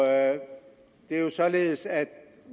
er jo således at